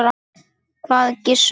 hváði Gizur.